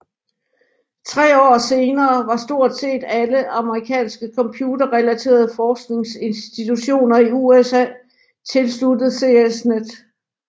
Tre år senere var stort set alle amerikanske computerrelaterede forskningsinstitutioner i USA tilsluttet CSNET